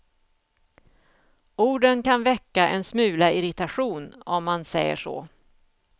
Orden kan väcka en smula irritation, om man säger så.